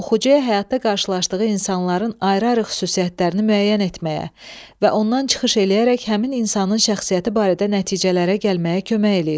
Bu oxucuya həyatda qarşılaşdığı insanların ayrı-ayrı xüsusiyyətlərini müəyyən etməyə və ondan çıxış eləyərək həmin insanın şəxsiyyəti barədə nəticələrə gəlməyə kömək eləyir.